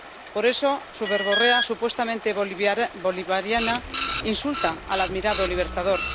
Por eso su verborrea supuestamente bolivariana insulta al admirado Libertador.